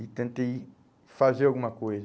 e tentei fazer alguma coisa.